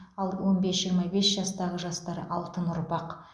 ал он бес жиырма бес жастағы жастар алтын ұрпақ